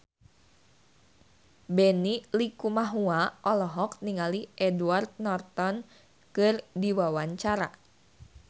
Benny Likumahua olohok ningali Edward Norton keur diwawancara